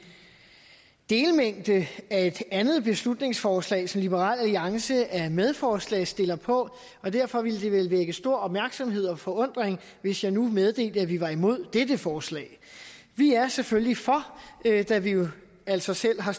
delmængde af et andet beslutningsforslag som liberal alliance er medforslagsstiller på og derfor ville det vel vække stor opmærksomhed og forundring hvis jeg nu meddelte at vi var imod dette forslag vi er selvfølgelig for da vi jo altså selv har